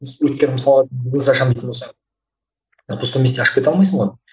өйткені мысалы бизнес ашамын дейтін болсаң на пустом месте ашып кете алмайсың ғой